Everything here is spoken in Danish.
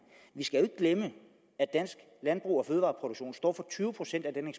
vi skal jo ikke glemme at dansk landbrug og fødevareproduktion står for tyve procent af den